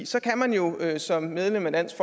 så kan man jo som medlem af dansk